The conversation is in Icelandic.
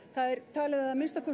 talið er að minnst